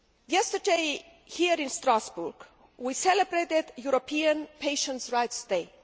Yesterday, here in Strasbourg, we celebrated European Patients' Rights Day.